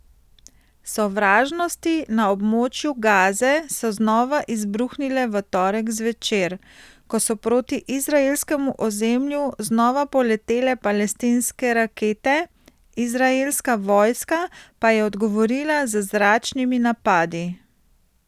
Sovražnosti na območju Gaze so znova izbruhnile v torek zvečer, ko so proti izraelskemu ozemlju znova poletele palestinske rakete, izraelska vojska pa je odgovorila z zračnimi napadi.